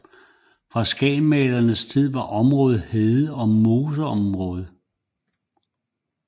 På Skagensmalerenes tid var området hede og moseområde